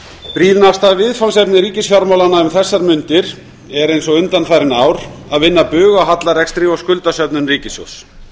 brýnasta viðfangsefni ríkisfjármálanna um þessar mundir er eins og undanfarin ár að vinna bug á hallarekstri og skuldasöfnun ríkissjóðs